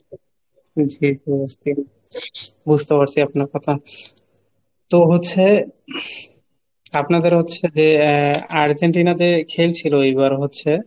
জি জি বুঝতে বুঝতে পারছি আপনার কথা। তো হচ্ছে আপনাদের হচ্ছে যে আর্জেন্টিনা যে খেলছিল এইবার হচ্ছে,